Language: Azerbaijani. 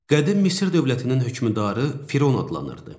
Qədim Misir dövlətinin hökmdarı Firon adlanırdı.